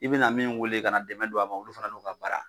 I bina min weele kana dɛmɛ don a ma olu fana n'u ka baara.